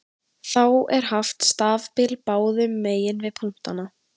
Þá er haft stafbil báðum megin við punktana.